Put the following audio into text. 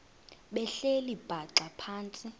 behleli bhaxa phantsi